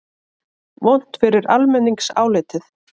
Vont fyrir almenningsálitið?